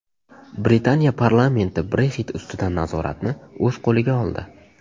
Britaniya parlamenti Brexit ustidan nazoratni o‘z qo‘liga oldi.